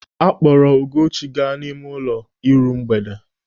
A kpọrọ Ugochi ga n'ime ụlọ ịrụmgbede.